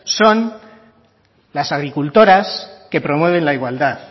son las agricultoras que promueven la igualdad